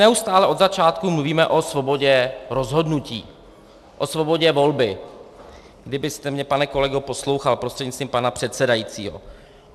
Neustále od začátku mluvíme o svobodě rozhodnutí, o svobodě volby - kdybyste mě, pane kolego, poslouchal, prostřednictvím pana předsedajícího.